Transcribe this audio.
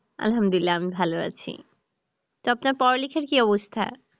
আলহামদুলিল্লাহ আমি ভাল আছি, তো আপনার পড়ালেখার কি অবস্থা?